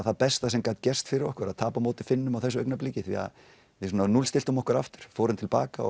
það besta sem gat gerst fyrir okkur að tapa á móti Finnum á þessum augnabliki því við svona núllstilltum okkur aftur og fórum til baka